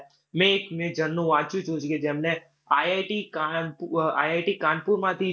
મેં એક મેં જણનું વાંચ્યું તું કે જેમણે IIT કાનપુ, IIT કાનપુરમાંથી